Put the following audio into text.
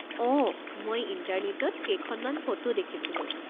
অঁ, মই ইণ্টাৰনেটত কেইখনমান ফটো দেখিছিলোঁ।